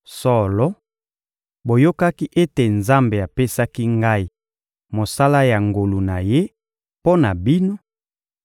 Solo, boyokaki ete Nzambe apesaki ngai mosala ya ngolu na Ye mpo na bino